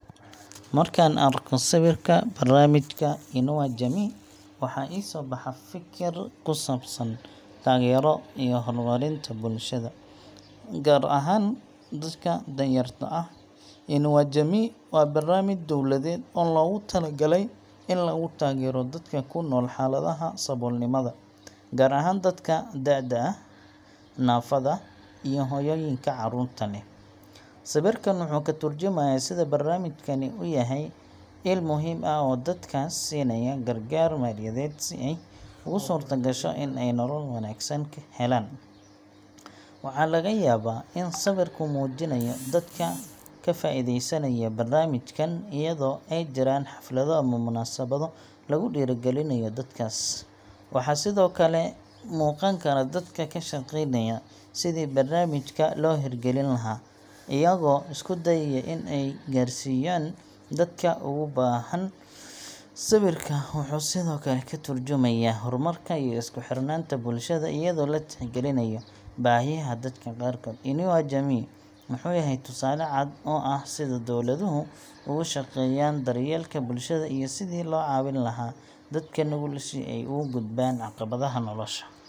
Marka aan arko sawirka barnaamijka Inua Jamii waxa i soo baxa fikir ku saabsan taageero iyo horumarinta bulshada, gaar ahaan dadka danyarta ah. Inua Jamii waa barnaamij dowladeed oo loogu talagalay in lagu taageero dadka ku nool xaaladaha saboolnimada, gaar ahaan dadka da'da ah, naafada, iyo hooyooyinka carruurta leh. Sawirkan wuxuu ka turjumayaa sida barnaamijkani u yahay il muhiim ah oo dadkaas siinaya gargaar maaliyadeed si ay ugu suurtagasho in ay nolol ka wanaagsan helaan. Waxa laga yaabaa in sawirku muujinayo dadka ka faa'iideysanaya barnaamijkan, iyadoo ay jiraan xaflado ama munaasabado lagu dhiirrigelinayo dadkaas. Waxaa sidoo kale muuqan kara dadka ka shaqeynaya sidii barnaamijka loo hirgelin lahaa, iyagoo isku dayaya in ay gaarsiiyaan dadka ugu baahan. Sawirka wuxuu sidoo kale ka tarjumayaa horumarka iyo isku xirnaanta bulshada, iyadoo la tixgelinayo baahiyaha dadka qaarkood. Inua Jamii wuxuu yahay tusaale cad oo ah sida dowladuhu uga shaqeeyaan daryeelka bulshada iyo sidii loo caawin lahaa dadka nugul si ay uga gudbaan caqabadaha nolosha.